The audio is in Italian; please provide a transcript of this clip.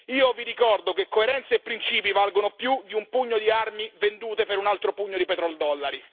Io vi ricordo che coerenza e principi valgono più di un pugno di armi vendute per un altro pugno di petroldollari.